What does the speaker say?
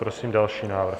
Prosím další návrh.